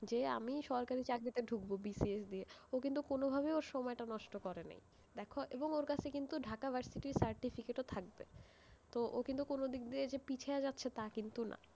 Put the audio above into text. যে আমি সরকারি চাকরিতে ঢুকবো BCS দিয়ে, ও কিন্তু কোনভাবেই ওর সময় টা নষ্ট করেনি, দেখো, এবং ওর কাছে কিন্তু ঢাকা ভার্সিটির certificate ও থাকবে, তো ও কিন্তু কোনো দিক দিয়ে দে পিছিয়া যাচ্ছে তা কিন্তু না।